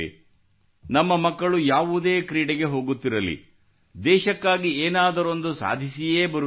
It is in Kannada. ನಮ್ಮ ಮಕ್ಕಳು ಯಾವುದೇ ಕ್ರೀಡೆಗೆ ಹೋಗುತ್ತಿರಲಿ ದೇಶಕ್ಕಾಗಿ ಏನಾದರೊಂದನ್ನು ಸಾಧಿಸಿಯೇ ಬರುತ್ತಿದ್ದಾರೆ